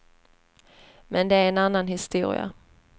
Men det är en annan historia.